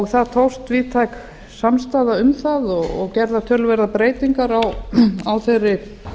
það tókst víðtæk samstaða um það og gerðar töluverðar breytingar á þeirri